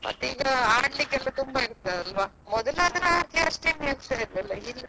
ಮತ್ ಈಗ ಆಡ್ಲಿಕ್ಕೆ ತುಂಬಾ ಇರ್ತದಲ್ವಾ ಹಾ ಮೊದಲಾದ್ರೆ ಹಾಗೆ ಅಷ್ಟು ಇರ್ತಿರಲಿಲ್ಲವಲ್ಲ.